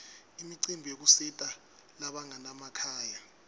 imicimbi yekusita labanganamakhaya